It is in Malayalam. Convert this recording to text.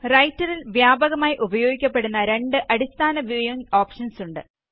റൈറ്ററില് വ്യാപകമായി ഉപയോഗിക്കപ്പെടുന്ന രണ്ട് അടിസ്ഥാന വ്യൂവിംഗ് ഓപ്ഷന്സ് ഉണ്ട്